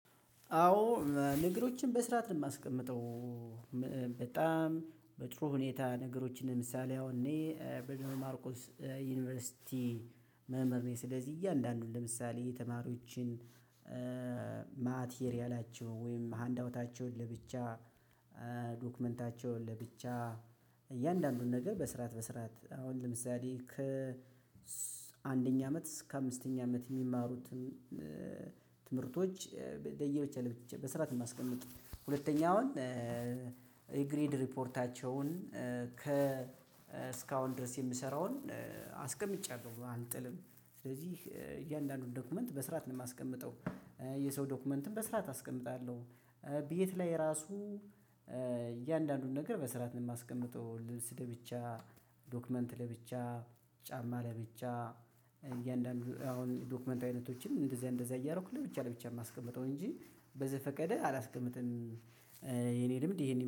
አዎ ነገሮችን በስርዓት ነው የማስቀምጠው በጣም በጥሩ ሁኔታ ነገሮችን ለምሳሌ አሁን እኔ በደብረማርቆስ ዩኒቨርሲቲ መምህር ነኝ። ስለዚህ እያንዳንዱን ለምሳሌ የተማሪዎችን ማ ማቴሪያላቸው ወይም ሃንዳውታቸውን ለብቻ ዶክመንታቸውን ለብቻ እያንዳንዱን ነገር በስርዓት በስርዓት አሁን ለምሳሌ ከ አንደኛ አመት እስከ አምስተኛ አመት የሚማሩትን ትምህርቶች ለየብቻ ለብቻ በስርዓት ነው የማስቀምጥ። ሁለተኛውን የግሬድ ሪፖርታቸውን ከ እስካሁን ድረስ የምሰራውን አስቀምጫለው አልጥልም። ስለዚህ እያንዳንዱን ዶክመንት በስርዓት ነው የማስቀምጠው። የሰው ዶክመንትም በስርዓት አስቀምጣለሁ። ቤት ላይ ራሱ እያንዳንዱን ነገር በስራት ነው የማስቀምጠው። ልብስ ለብቻ ዶክመንት ለብቻ ጫማ ለብቻ እያንዳንዱ አሁን ዶክመንት አይነቶችን እንደዚያ እንደዚያ እያደረኩኝ ለብቻ ለብቻ የማስቀምጠው እንጂ በዘፈቀደ አላስቀምጥም። የኔ ልምድ ይሄን ይመ